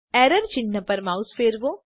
error ચિન્હ પર mouse ફેરવો